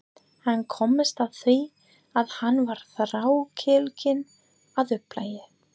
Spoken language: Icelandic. Hann komst að því að hann var þrákelkinn að upplagi.